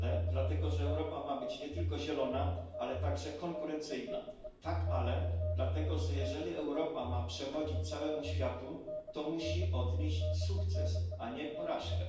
Dlatego że Europa ma być nie tylko zielona, ale także konkurencyjna. Dlatego że jeśli Europa ma przewodzić całemu światu, to musi odnieść sukces, a nie ponieść porażkę.